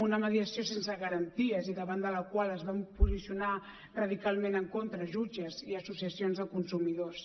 una mediació sense garanties i davant de la qual es van posicionar radicalment en contra jutges i associacions de consumidors